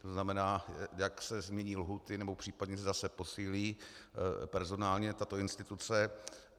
To znamená, jak se změní lhůty, nebo případně zda se posílí personálně tato instituce.